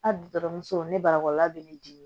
A dutɔmuso ni baralɔkɔlɔla bɛ ne dimi